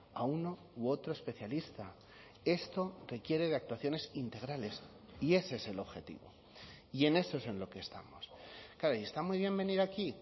a uno u otro especialista esto requiere de actuaciones integrales y ese es el objetivo y en eso es en lo que estamos claro y está muy bien venir aquí